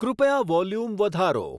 કૃપયા વોલ્યુમ વધારો